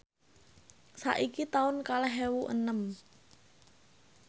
saiki taun kalih ewu enem